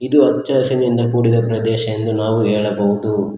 ಇದು ಹಚ್ಚ ಹಸಿರಿನಿಂದ ಕೂಡಿದ ಪ್ರದೇಶ ಎಂದು ನಾವು ಹೇಳಬಹುದು.